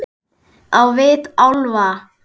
Á vit álfa.